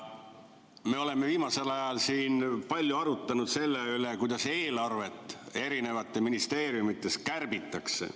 Me oleme viimasel ajal siin palju arutanud selle üle, kuidas eelarvet eri ministeeriumides kärbitakse.